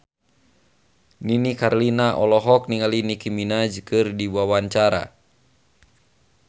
Nini Carlina olohok ningali Nicky Minaj keur diwawancara